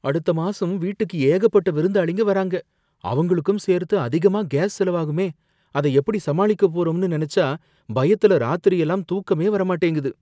அடுத்த மாசம் வீட்டுக்கு ஏகப்பட்ட விருந்தாளிங்க வராங்க. அவங்களுக்கும் சேர்த்து அதிகமா கேஸ் செலவாகுமே, அத எப்படி சமாளிக்க போறோம்னு நெனச்சா பயத்துல ராத்திரி எல்லாம் தூக்கமே வர மாட்டேங்குது.